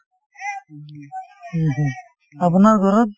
আপোনাৰ ঘৰত ?